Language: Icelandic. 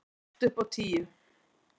Allt upp á tíu.